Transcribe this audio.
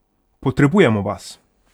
Potrebujemo vas!